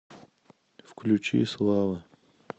включи слава